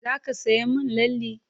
Za ka sayan min lalle?